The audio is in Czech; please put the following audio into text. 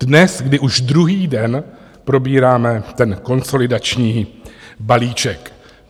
Dnes, kdy už druhý den probíráme ten konsolidační balíček.